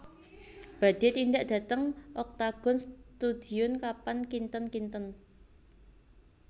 Badhe tindak dhateng Octagon Studion kapan kinten kinten